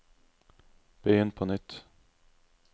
begynn på nytt